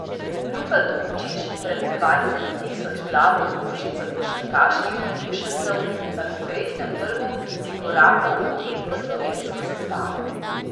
Luka Dončić pred dvajset tisoč glavo množico košarkarskih navdušencev na Kongresnem trgu prikorakal odet v slovensko zastavo.